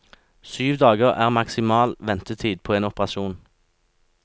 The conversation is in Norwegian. Syv dager er maksimal ventetid på en operasjon.